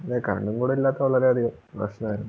അതെ Current കൂടെ ഇല്ലാത്ത വളരെയധികം പ്രശ്നവാരുന്നു